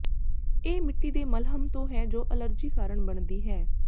ਇਹ ਮਿੱਟੀ ਦੇ ਮਲ੍ਹਮ ਤੋਂ ਹੈ ਜੋ ਅਲਰਜੀ ਕਾਰਨ ਬਣਦੀ ਹੈ